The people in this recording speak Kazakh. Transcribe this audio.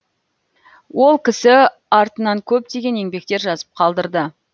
ол кісі артынан көптеген еңбектер жазып қалдырды